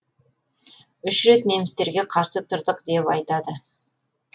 үш рет немістерге қарсы тұрдық деп айтады